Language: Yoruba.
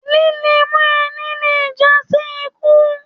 Líle mọ ẹni le jasi ikú.